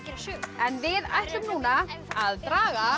en við ætlum núna að draga